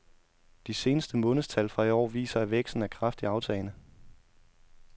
De seneste månedstal fra i år viser, at væksten er kraftigt aftagende.